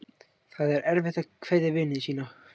Það er erfitt að kveðja vini sína.